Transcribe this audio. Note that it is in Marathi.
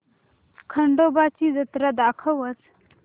खंडोबा ची जत्रा दाखवच